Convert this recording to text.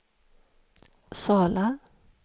Sala